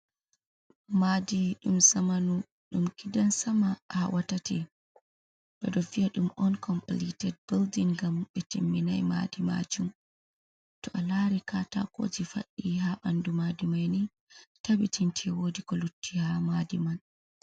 Madi ɗum zamanu, ɗum gidan sama, hawa tati, ɓedo viya ɗum on compilit bilding, gam ɓe timminai madi majun, to a lari katakoji fadɗi ha banɗu madimaini tabbitinte wodi ko lutti ha madi man.